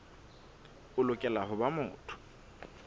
o lokela ho ba motho